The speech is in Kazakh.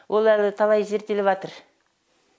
ол әлі талай зерттеліватыр